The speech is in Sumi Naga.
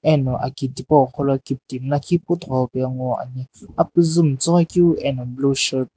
ani aki thipo sgho lo kiktimi lakhi puthoghi pa nguo ane apkiizi matsoghoi keu ano blue shirt .